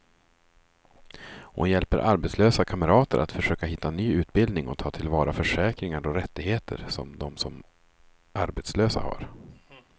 Hon hjälper arbetslösa kamrater att försöka hitta ny utbildning och ta till vara försäkringar och rättigheter som de som arbetslösa har.